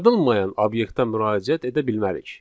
Yaradılmayan obyektə müraciət edə bilmərik.